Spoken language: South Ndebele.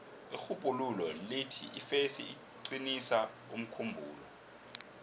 irhubhululo lithi ifesi iqinisa umkhumbulo